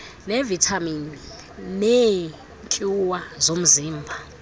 nevitamin neetyuwa zomzimba